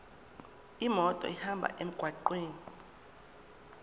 imoto ihambe emgwaqweni